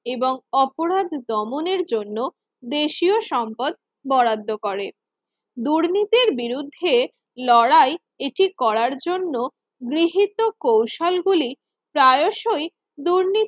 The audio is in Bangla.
এবং অপরাধ দমনের জন্য দেশীয় সম্পদ বরাদ্দ করে দুর্নীতির বিরুদ্ধে লড়াই এটি করার জন্য গৃহীত কৌশল গুলি প্রায়শই দুর্নীতির